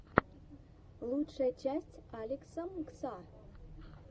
лучшая часть алекса мгса